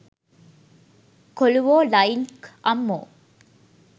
කොලුවෝ line ක් අම්මෝ